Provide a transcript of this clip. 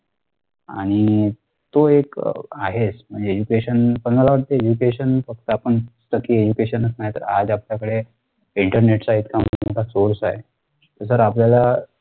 आणि तो एक आहे म्हणजे education पण मला वाटत education फक्त आपण तर education च नाही तर आज आपल्याकडे internet चा इतका मोठा source आहे तर आपल्याला